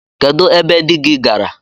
Kedụ ebe di gị gaara?